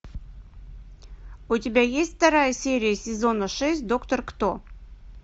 у тебя есть вторая серия сезона шесть доктор кто